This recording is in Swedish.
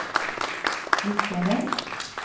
lyckades